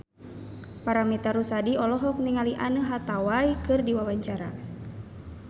Paramitha Rusady olohok ningali Anne Hathaway keur diwawancara